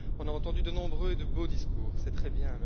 On a entendu de nombreux et de beaux discours, c'est très bien.